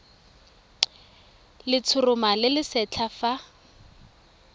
letshoroma le le setlha fa